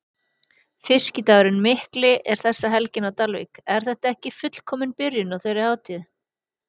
Fiskidagurinn Mikli er þessa helgina á Dalvík, er þetta ekki fullkomin byrjun á þeirri hátíð?